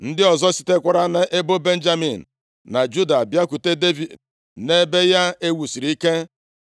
Ndị ọzọ sitekwara nʼebo Benjamin na Juda bịakwute Devid nʼebe ya e wusiri ike.